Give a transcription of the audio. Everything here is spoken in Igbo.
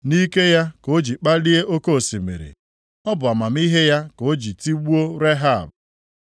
Nʼike ya ka o ji kpalie oke osimiri; ọ bụ amamihe ya ka o ji tigbuo Rehab.